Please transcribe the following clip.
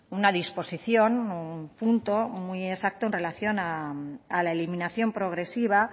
una disposición un punto muy exacto en relación a la eliminación progresiva